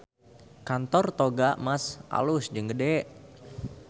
Kantor Toga Mas alus jeung gede